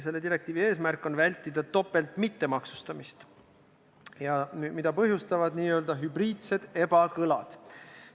Selle direktiivi eesmärk on vältida topeltmittemaksustamist, mida põhjustavad n-ö hübriidsed ebakõlad.